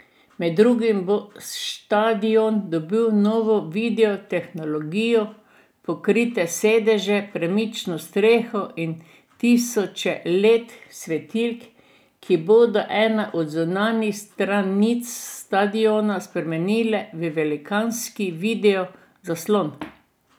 Med drugim bo štadion dobil novo video tehnologijo, pokrite sedeže, premično streho in tisoče Led svetilk, ki bodo eno od zunanjih stranic stadiona spremenili v velikanski video zaslon.